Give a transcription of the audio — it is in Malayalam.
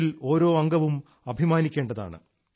അതിൽ ഓരോ അംഗവും അഭിമാനിക്കേണ്ടതാണ്